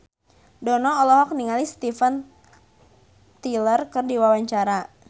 Dono olohok ningali Steven Tyler keur diwawancara